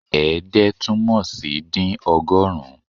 Ẹ̀ẹ́dẹ́ túmọ̀ sí dín ọgọ́rùn-ún